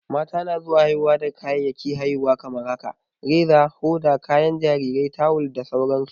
Mata na zuwa haihuwa da kayayyakin haihuwa kamar safa, Reza, hoda, kayan jarirai, tawul da sauran su.